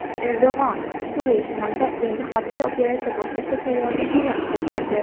Erdo‘g‘on Suriya shimolida yangi harbiy operatsiya boshlashga tayyorligini bildirdi.